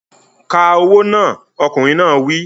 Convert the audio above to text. Ka owó náà! Ọkùnrin náà wí.